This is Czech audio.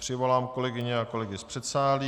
Přivolám kolegyně a kolegy z předsálí.